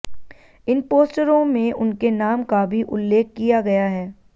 इन पोस्टरों में उनके नाम का भी उल्लेख किया गया है